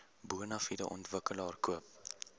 bonafide ontwikkelaar koop